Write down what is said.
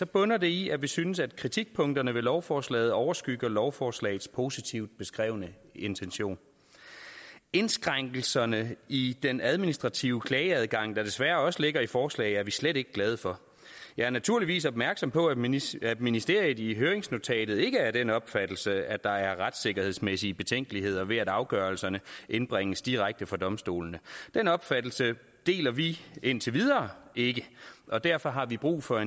bunder det i at vi synes at kritikpunkterne ved lovforslaget overskygger lovforslagets positivt beskrevne intention indskrænkelserne i den administrative klageadgang der desværre også ligger i forslaget er vi slet ikke glade for jeg er naturligvis opmærksom på at ministeriet ministeriet i høringsnotatet ikke er af den opfattelse at der er retssikkerhedsmæssige betænkeligheder ved at afgørelserne indbringes direkte for domstolene den opfattelse deler vi indtil videre ikke og derfor har vi brug for